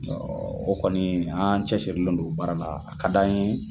O kɔni an cɛsirilen don o baara la a ka d'an ye